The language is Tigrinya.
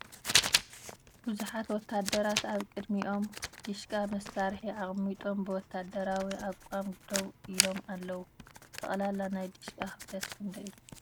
ብዙሓት ወታደራት ኣብ ቅድሚኦም ዲሽቃ መሳርሒ ኣቀሚጦም ብ ወተሃደራዊ ኣቃም ደው ኢሎም ኣለዉ ። ጠቅላላ ናይ ዲሽቃ ክብደት ክንደይ እዩ ?